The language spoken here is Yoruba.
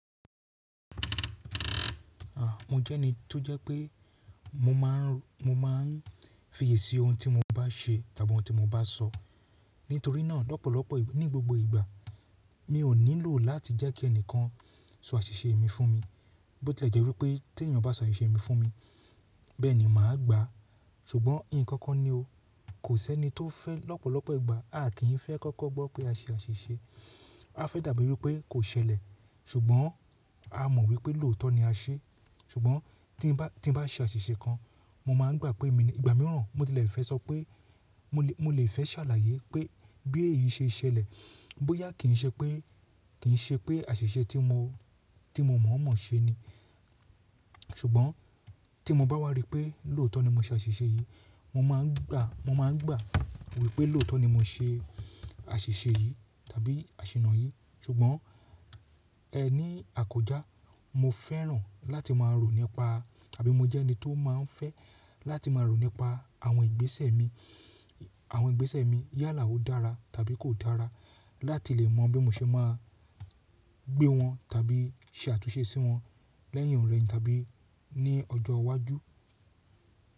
Mo jẹ́ ẹni tó jẹ́ pé mo máà ń, mo máa ń fiyèsí ohun tí mo bá ṣe tàbí ohun tí mo bá sọ. Nítorínà lọ́pọ̀lọpọ̀ ní gbogbo ìgbà mi ò nílò láti jẹ́ kí ẹnìkan sọ àṣìṣe mi fún mi. Bó tí lè jẹ́ wípé tí ènìyàn bá sọ àṣìṣe mi fún mi, bẹ́ẹ̀ni mà á gbà á. Ṣùgbọ́n nkankan ni o. Kò sẹ́ni tó fẹ́ lọ́pọ̀lọpọ̀ ìgbà a kì í fẹ́ kókó gbọ́ pé a ṣe àṣìṣe. A fẹ́ dàbí wipé kò ṣẹlẹ̀. Ṣùgbọ́n a mọ̀ wípé lóòótọ́ ni a ṣe. Ṣùgbọ́n tí mo bá ṣe àṣìṣe kan mo máa ń gbà pé mi ní ìgbà mìíràn mo ti lè fẹ́ sọ pé mo lè, mo lè fẹ́ ṣàlàyé pé bí èyí ṣe ṣẹlẹ̀. Bóyá kì í ṣe pé, kì í ṣe pé àṣìṣe tí mo, tí mo mọ̀ mọ̀ ṣe ni. Ṣùgbọ́n tí mo bá wá rí pé lóòótọ́ ni mo ṣe àṣìṣe yìí, mo máa ń gbà, mo máa ń gbà wípé lóòótọ́ ni mo ṣe àṣìṣe yìí tàbí àṣẹ̀nà yìí. Ṣùgbọ́n ẹní àkója mo fẹ́ràn láti máa rò nípa tàbí mo jẹ́ ẹni tó máa ń fẹ́ láti máa rò nípa àwọn ìgbésẹ̀ mi. Àwọn ìgbésẹ̀ mi yálà ó dára tàbí kò dára láti lè mọ bí mo ṣe máa gbé wọn tàbí ṣe àtúnṣe sí wọn lẹ́yìn o rẹ̀yin tàbí ní ọjọ́ iwájú.